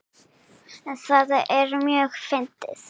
Það er mjög fyndið.